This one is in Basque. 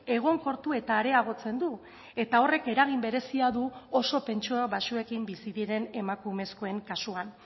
egonkortu eta areagotzen du eta horrek eragin berezia du oso pentsio baxuekin bizi diren emakumezkoen kasuan